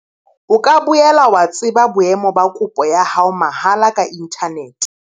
O ka boela wa tseba boemo ba kopo ya hao mahala ka inthanete.